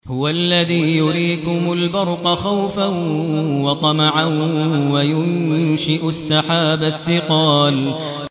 هُوَ الَّذِي يُرِيكُمُ الْبَرْقَ خَوْفًا وَطَمَعًا وَيُنشِئُ السَّحَابَ الثِّقَالَ